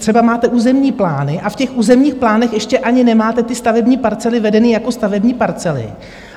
Třeba máte územní plány a v těch územních plánech ještě ani nemáte ty stavební parcely vedeny jako stavební parcely.